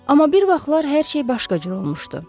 Amma bir vaxtlar hər şey başqa cür olmuşdu.